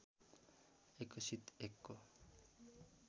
एकसित एकको